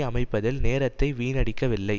அமைப்பதில் நேரத்தை வீணடிக்கவில்லை